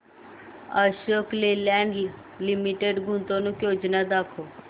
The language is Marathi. अशोक लेलँड लिमिटेड गुंतवणूक योजना दाखव